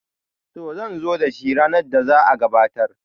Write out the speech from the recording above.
to zan zo da shi ranar da za a gabatar